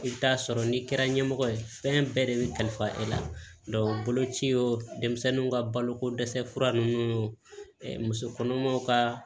I bɛ taa sɔrɔ n'i kɛra ɲɛmɔgɔ ye fɛn bɛɛ de bɛ kalifa e la boloci denmisɛnninw ka baloko dɛsɛ fura ninnu muso kɔnɔmaw ka